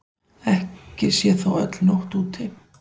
Ekki sé þó öll nótt úti.